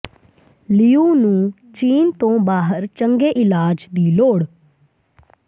ਲਿਊ ਨੂੰ ਚੀਨ ਤੋਂ ਬਾਹਰ ਚੰਗੇ ਇਲਾਜ ਦੀ ਲੋੜ